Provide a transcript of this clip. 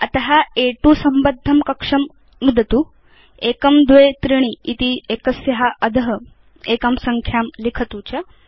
अत अ2 संबद्धं कक्षं नुदतु 123 इति एकस्या अध एकां संख्यां लिखतु च